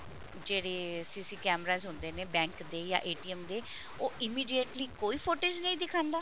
ਜਿਹੜੇ CC cameras ਹੁੰਦੇ ਨੇ bank ਦੇ ਜਾਂ ਦੇ ਉਹ immediately ਕੋਈ footage ਨਹੀਂ ਦਿਖਾਂਦਾ